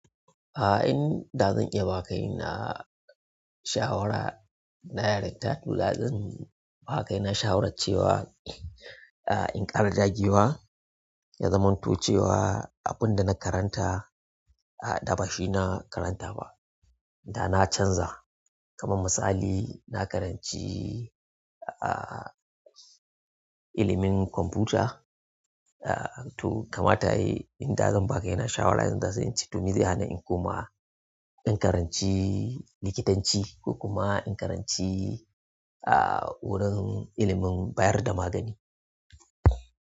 Ah, in da zan iya ba ka na shawara, na directa to da zan ba ka yana shawara cewa, ah in ƙara jagewa, ya zamantu cewa abin da na karanta ah da bashi na karanta ba. Da na canza, kaman misali na karanci ah ilimin kwamfuta, ah to kama ta yi, in da zan ba ka yana shawara zan ce to me zai hana in koma in karanci likitanci ko kuma in karanci ah wurin ilimin bayar da magani.